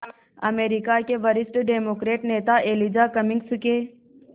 अमरीका के वरिष्ठ डेमोक्रेट नेता एलिजा कमिंग्स के